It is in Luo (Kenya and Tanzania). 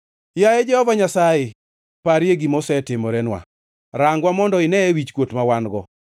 Yaye Jehova Nyasaye, parie gima osetimorenwa; rangwa mondo ineye wichkuot ma wan-go.